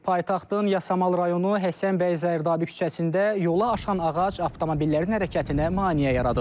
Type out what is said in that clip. Paytaxtın Yasamal rayonu Həsənbəy Zərdabi küçəsində yola aşan ağac avtomobillərin hərəkətinə maneə yaradıb.